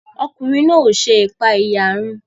Ọkùnrin náà o ṣe ipaeyarun